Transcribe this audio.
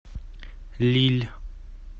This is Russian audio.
лилль